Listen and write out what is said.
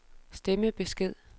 stemmebesked